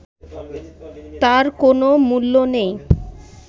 তার কোনও মূল্য নেই